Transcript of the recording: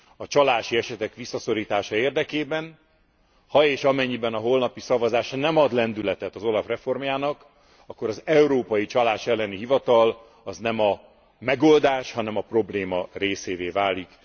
a csalási esetek visszaszorítása érdekében, ha és amennyiben, a holnapi szavazás nem ad lendületet az OLAF reformjának, akkor az Európai Csalás Ellen Hivatal az nem a megoldás, hanem a probléma részévé válik.